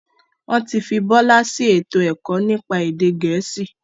Wọn tí fi Bọlá sì ètò ẹ̀kọ́ nípa èdè gẹ̀ẹ́sì.